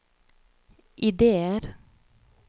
ideer